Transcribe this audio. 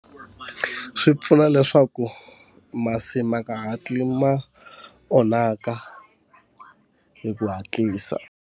Swi pfuna leswaku masi ma nga hatli ma onhaka hi ku hatlisa.